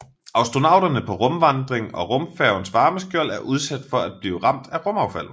Astronauterne på rumvandring og rumfærgens varmeskjold er udsatte for at blive ramt af rumaffald